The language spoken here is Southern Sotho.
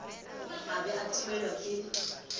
a ba a timellwa ke